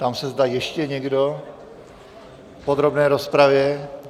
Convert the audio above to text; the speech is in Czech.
Ptám se, zda ještě někdo v podrobné rozpravě.